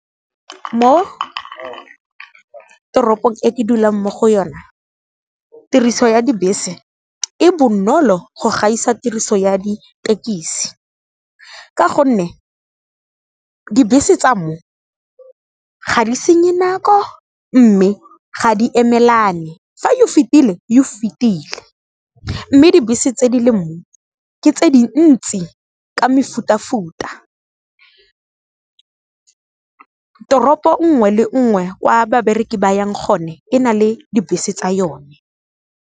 Mo toropong e ke dulang mo go yona, tiriso ya dibese e bonolo go gaisa tiriso ya ditekisi ka gonne, dibese tsa mo ga di senye nako mme ga di emelane fa e o fetile e o fetile, mme dibese tse di le moo ke tse dintsi ka mefutafuta. Toropo 'ngwe le 'ngwe kwa babereki ba yang gone e na le dibese tsa yone.